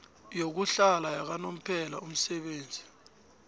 yokuhlala yakanomphela umsebenzi